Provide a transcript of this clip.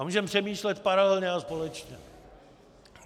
A můžeme přemýšlet paralelně a společně.